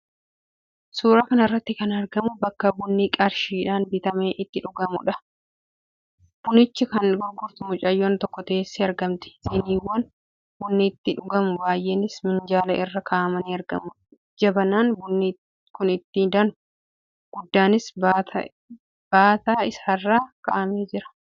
Suuraa kana irratti kan argamu bakka bunni qarshiidhaan bitamee itti dhugamuudha. Bunicha kan gurgurtu mucayyoon tokko teessee argamti. Siniiwwan bunni itti dhugamu baay'eenis minjaala irra kaa'amanii argamu. Jabanaan bunni kun itti danfu guddaanis baataa isaarra kaa'amee mu'ata.